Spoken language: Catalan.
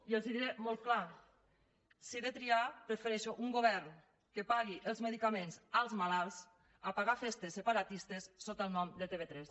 i els ho diré molt clar si he de triar prefereixo un govern que pagui els medicaments als malalts a pagar festes separatistes sota el nom de tv3